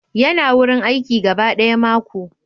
Yana wurin aiki gaba daya mako.